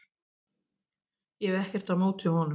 Ég hef ekkert á móti honum.